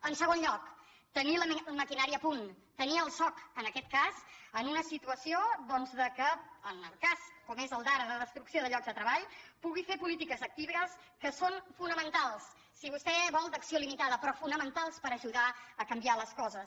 en segon lloc tenir la maquinària a punt tenir el soc en aquest cas en una situació doncs que en el cas com és el d’ara de destrucció de llocs de treball pugui fer polítiques actives que són fonamentals si vostè vol d’acció limitada però fonamentals per ajudar a canviar les coses